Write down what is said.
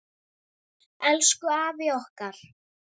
Elsku afi okkar.